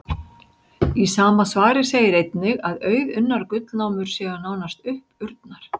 Í sama svari segir einnig að auðunnar gullnámur séu nánast uppurnar.